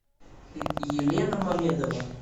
елена мамедова